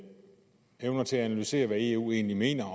evner til at analysere hvad eu egentlig mener